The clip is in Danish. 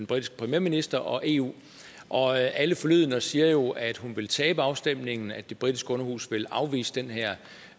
britiske premierminister og eu og alle forlydender siger jo at hun vil tabe afstemningen at det britiske underhus vil afvise den her